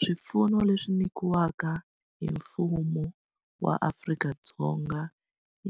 Swipfuno leswi nyikiwaka hi mfumo wa Afrika-Dzonga